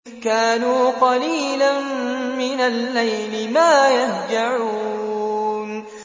كَانُوا قَلِيلًا مِّنَ اللَّيْلِ مَا يَهْجَعُونَ